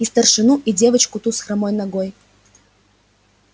и старшину и девоку ту с хромой ногой